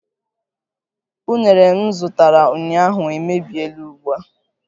Unere m zụtara ụnyaahụ emebiela ugbua